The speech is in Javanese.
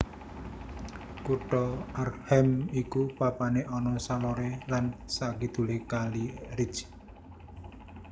Kutha Arnhem iku papané ana saloré lan sakidulé kali Rijn